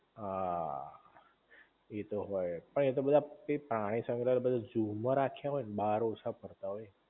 હા ઇ તો હોય પણ એ તો બધા પ્રાણીસંગ્રહાલય બધા જૂ માં રાખ્યા હોય તો બાર ઓછા ફરતા હોય